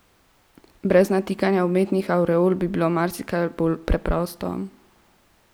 Brez natikanja umetnih avreol bi bilo marsikaj bolj preprosto.